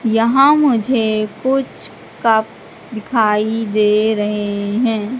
यहां मुझे कुछ कप दिखाई दे रहे हैं।